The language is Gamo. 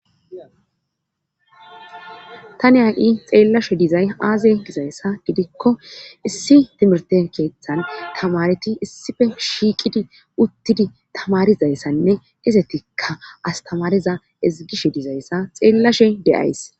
Ta niya7i xeellashe dizay aaze gizayssa didikko issi timirte keeththan tamareti issife shiiqidi uttidi tamarizayssanne izetikka astamariza izigishe dizayssa xeellashe de7ays